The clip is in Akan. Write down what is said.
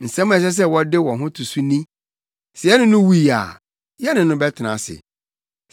Nsɛm a ɛsɛ sɛ wode wo ho to so ni: “Sɛ yɛne no wui a, yɛne no bɛtena ase.